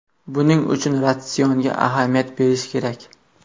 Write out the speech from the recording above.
Buning uchun ratsionga ahamiyat berish kerak.